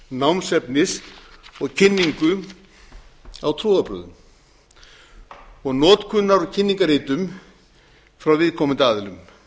námsefnis kynningu á trúarbrögðum og notkunar á kynningarritum frá viðkomandi aðilum